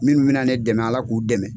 Minnu bɛna ne dɛmɛ ala k'u dɛmɛ.